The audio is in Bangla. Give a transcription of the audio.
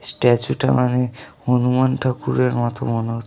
স্ট্যাচু টা হনু মান ঠাকুরের মত মনে হ--